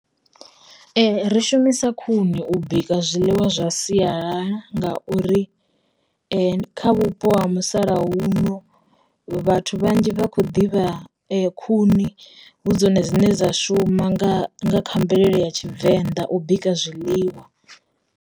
Ri shumisa khuni u bika zwiḽiwa zwa siyalala ngauri, kha vhupo ha musalauno vhathu vhanzhi vha khou ḓivha khuni hu dzone dzine dza shuma nga kha mvelele ya tshivenḓa u bika zwiḽiwa.